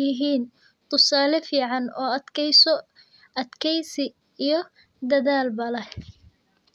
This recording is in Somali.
yihiin tusaale fican oo dakeysi iyo dadaal leh.